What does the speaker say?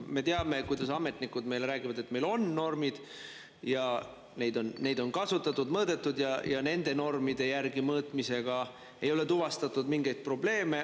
Me teame, kuidas ametnikud meile räägivad, et meil on normid ja neid on kasutatud, on mõõdetud ja nende normide järgi mõõtmisel ei ole tuvastatud mingeid probleeme.